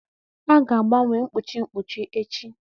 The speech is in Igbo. A ga-agbanwe mkpuchi mkpuchi echi.